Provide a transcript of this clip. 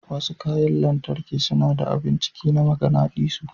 Wasu kayan lantarki suna da abun ciki na maganadisu.